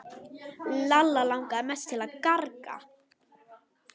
Lalla langaði mest til að garga.